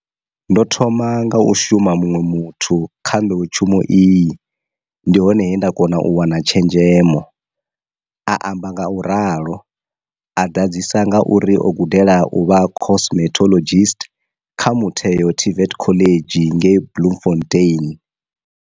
Ndo thoma nga u shumela muṅwe muthu kha nḓowetshumo iyi, ndi hone he nda kona u wana tshenzhemo, a amba ngauralo, a ḓadzisa nga uri o gudela u vha cosmetologist kha motheo TVET college ngei Bloemfontein.